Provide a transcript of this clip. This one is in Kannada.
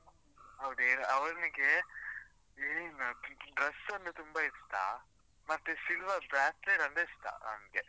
ನೋಡಿ ಅವ್ನಿಗೆ main dress ಅಂದ್ರೆ ತುಂಬಾ ಇಷ್ಟಾ, ಮತ್ತೇ silver bracelet ಅಂದ್ರೆ ಇಷ್ಟ ಅವ್ನ್ಗೆ.